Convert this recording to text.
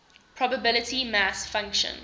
probability mass function